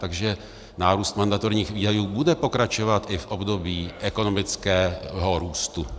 Takže nárůst mandatorních výdajů bude pokračovat i v období ekonomického růstu.